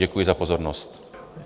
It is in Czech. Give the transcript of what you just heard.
Děkuji za pozornost.